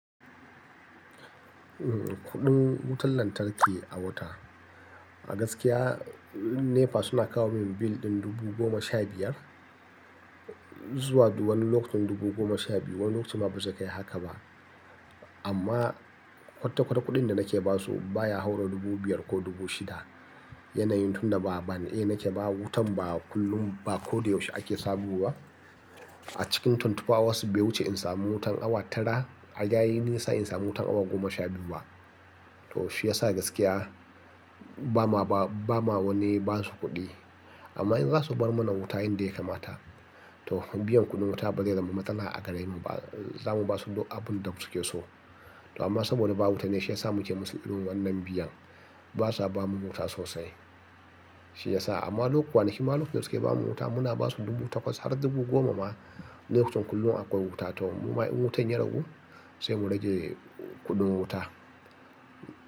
Kudin wutan lantarki a wata, a gaskiya NEPA suna kawo min bill ɗin dubu goma sha biyar zuwa wani lokacin dubu goma sha biyu. Wani lokacin ma ba su kai haka ba. Amma kwatakwata kudin da nake ba su baya haura dubu biyar ko dubu shida. Yanayin tun da ba band A nake ba wutan ba kullum, ba ko dai yaushe ake sabowa. A cikin tuntuɓawa wasu biyu wuce in samu wutan awa tara, a yayin nisa in samu wutan awa goma sha biyu ba. To shi ya sa gaskiya ba ma ba, ba ma wane ba su kuɗi. Amma in za su bar mana wuta inda ya kamata, to biyan kuɗin wuta ba zai zama matsala a gare mu ba. Za mu ba su abin da suke so. Amma saboda ba wuta ne shi ya sa muke musu ido wannan biyan. Ba sa ba mu wuta sosai. Shi ya sa. Amma lokuta, nima lokacin suke ba mu wuta muna ba su kuɗin wuta kwas har dubu goma ma, lokacin kullum akwai wuta. To in wutan ya ragu sai mu rage kuɗin wuta.